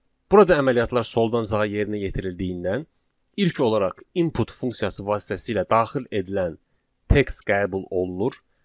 Burada əməliyyatlar soldan sağa yerinə yetirildiyindən ilk olaraq input funksiyası vasitəsilə daxil edilən text qəbul olunur.